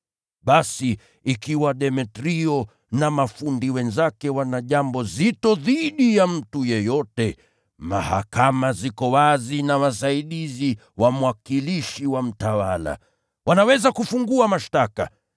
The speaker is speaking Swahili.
Basi, ikiwa Demetrio na mafundi wenzake wana jambo zito dhidi ya mtu yeyote, mahakama ziko wazi na wasaidizi wa mwakilishi wa mtawala. Wanaweza kufungua mashtaka.